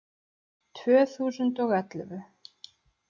Tvö þúsund og ellefu